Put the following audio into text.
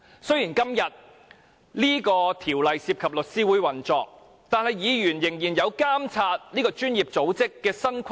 雖然《公告》涉及律師會的運作，但議員仍有責任監察這個專業組織的新規則。